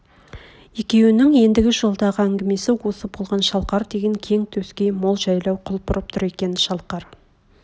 екеунің ендігі жолдағы әңгмесі осы болған шалқар деген кең төскей мол жайлау құлпырып тұр екен шалқар